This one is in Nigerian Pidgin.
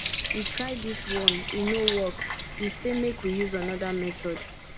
we try dis one e no work we say make we use another method